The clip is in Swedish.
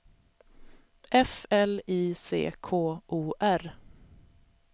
F L I C K O R